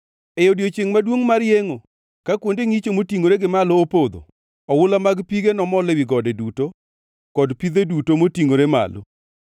E odiechiengʼ maduongʼ mar yengʼo, ka kuonde ngʼicho motingʼore gi malo opodho, oula mag pige nomol ewi gode duto kod pidhe duto motingʼore malo.